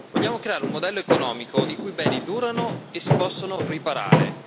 Vogliamo creare un modello economico in cui i beni durano e si possono riparare.